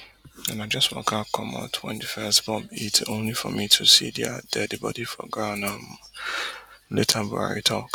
and i just waka comot wen di first bomb hit only for me to see dia dead body for ground oh later buhari tok